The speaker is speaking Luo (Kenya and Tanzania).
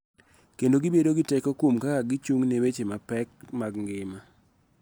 Kendo gibedo gi teko kuom kaka gichung� ne weche mapek mag ngima.